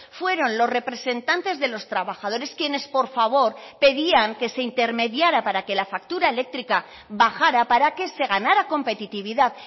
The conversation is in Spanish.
fueron los representantes de los trabajadores quienes por favor pedían que se intermediara para que la factura eléctrica bajara para que se ganara competitividad